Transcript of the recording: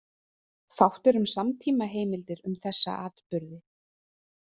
Fátt er um samtímaheimildir um þessa atburði.